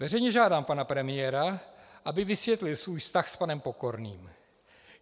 Veřejně žádám pana premiéra, aby vysvětlil svůj vztah s panem Pokorným.